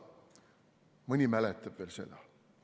Mõni mäletab veel seda.